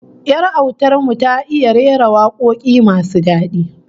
Yar autar mu ta iya rera wakoki masu dadi